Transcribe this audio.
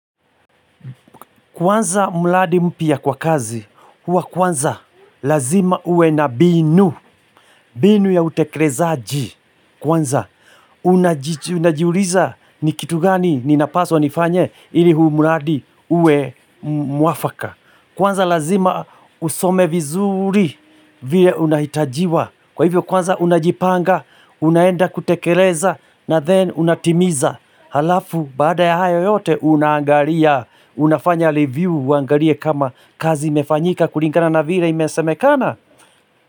Kwanza mradi mpya kwa kazi, huwa kwanza lazima uwe na binu, binu ya utekerezaji. Kwanza, unajiuliza ni kitu gani ninapaswa nifanye ili huu mradi uwe mwafaka. Kwanza lazima usome vizuri vile unahitajiwa. Kwa hivyo kwanza unajipanga, unaenda kutekereza na then unatimiza. Halafu bada ya hayo yote unaangaria, unafanya review, uangarie kama kazi imefanyika kulingana na vire imesemekana.